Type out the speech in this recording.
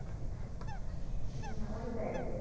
হুম ওটাই।